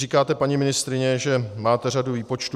Říkáte, paní ministryně, že máte řadu výpočtů.